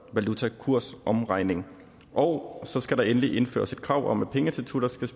valutakursomregning og så skal der endelig indføres et krav om at pengeinstitutter skal